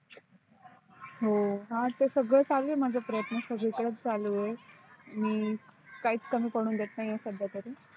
हो हा तर सगळेच चालू आहे माझे प्रयत्न सगळीकडेच चालू आहे मी काहीच कमी पडून देत नाही आहे सध्या तरी